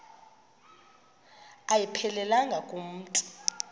ayiphelelanga ku mntu